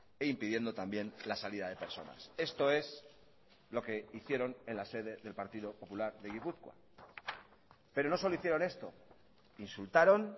e impidiendo también la salida de personas esto es lo que hicieron en la sede del partido popular de gipuzkoa pero no solo hicieron esto insultaron